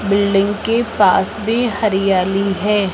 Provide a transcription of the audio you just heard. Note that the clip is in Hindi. बिल्डिंग के पास भी हरियाली है।